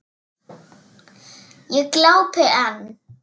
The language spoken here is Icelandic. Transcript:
Ég glápi enn.